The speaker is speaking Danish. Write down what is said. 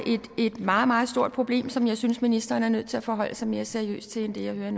et meget meget stort problem som jeg synes ministeren er nødt til at forholde sig mere seriøst til end det jeg hører